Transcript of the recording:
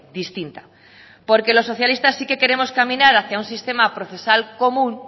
distinta porque los socialistas sí que queremos caminar hacía un sistema procesal común